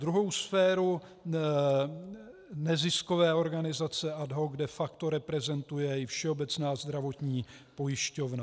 Druhou sféru neziskové organizace ad hoc de facto reprezentuje i Všeobecná zdravotní pojišťovna.